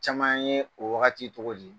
Caman ye o wagati tɔgɔdi